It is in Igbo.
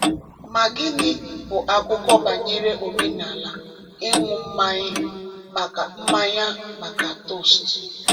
Ma gịnị bụ akụkọ banyere omenala ịṅụ mmanya maka mmanya maka toast?